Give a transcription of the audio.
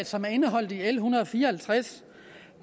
som er indeholdt i l en hundrede og fire og halvtreds